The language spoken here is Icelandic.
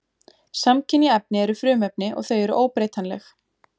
Samkynja efni eru frumefni og þau eru óbreytanleg.